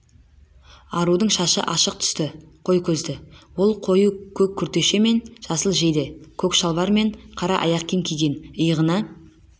арудың шашы ашық түсті қой көзді ол қою көк күртеше мен жасыл жейде көк шалбар мен қара аяқ киім киген иығына